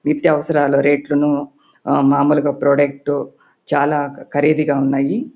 నిత్యావసరాల రేట్లు ను మాములుగా ప్రోడక్ట్ చాల ఖరీదుగా ఉన్నాయ్.